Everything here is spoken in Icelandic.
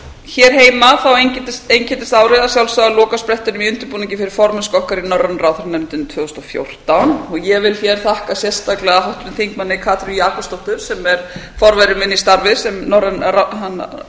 hér heima einkenndist árið að sjálfsögðu á lokasprettinum að undirbúningi fyrir formennsku okkar í norrænu ráðherranefndinni tvö þúsund og fjórtán ég vil hér þakka sérstaklega háttvirtum þingmanni katrínu jakobsdóttur sem er forveri minn í starfi sem